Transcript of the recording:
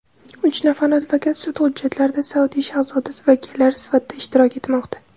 uch nafar advokat sud hujjatlarida Saudiya shahzodasi vakillari sifatida ishtirok etmoqda.